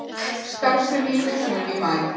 Starfsemi í húsunum í maí